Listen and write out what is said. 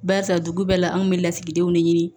Barisa dugu bɛɛ la anw kun bɛ lasigidenw de ɲini